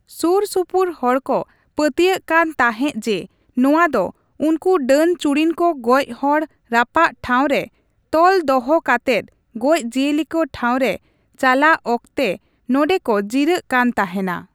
ᱥᱩᱨ ᱥᱩᱯᱩᱨ ᱦᱚᱲ ᱠᱚ ᱯᱟᱹᱛᱭᱟᱹᱜ ᱠᱟᱱ ᱛᱟᱸᱦᱮᱜ ᱡᱮ, ᱱᱚᱣᱟ ᱫᱚ ᱩᱱᱠᱩ ᱰᱟᱹᱱᱼᱪᱩᱲᱤᱱ ᱠᱚ ᱜᱚᱪ ᱦᱚᱲ ᱨᱟᱯᱟᱜ ᱴᱷᱟᱶ ᱨᱮ ᱛᱚᱞ ᱫᱚᱦᱚ ᱠᱟᱛᱮᱫ ᱜᱚᱡ ᱡᱤᱭᱟᱹᱞᱤ ᱠᱚ ᱴᱷᱟᱶ ᱨᱮ ᱪᱟᱞᱟᱜ ᱚᱠᱛᱮ ᱱᱚᱸᱰᱮ ᱠᱚ ᱡᱤᱨᱟᱹᱜ ᱠᱟᱱ ᱛᱟᱦᱮᱱᱟ ᱾